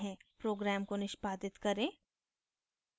program को निष्पादित करें